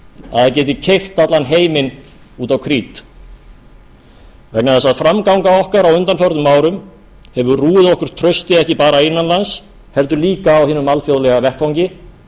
að það geti keypt allan heiminn út á krít vegna þess að framganga okkar á undanförnum árum hefur rúið okkur trausti ekki bara innan lands heldur líka á hinum alþjóðlega vettvangi